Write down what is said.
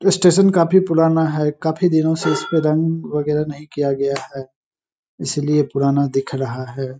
Station काफ़ी पुराना है काफी दिनों से इसपें रंग बगैरह नहीं किया गया है इसलिए पुराना दिख रहा है।